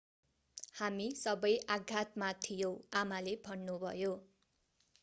हामी सबै आघातमा थियौँ आमाले भन्नुभयो